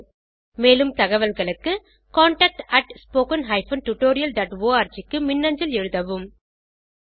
மேலும் தகவல்களுக்கு contactspoken tutorialorg க்கு மின்னஞ்சல் எழுதவும்